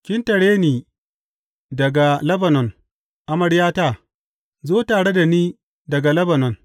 Ki tare da ni daga Lebanon, amaryata, zo tare da ni daga Lebanon.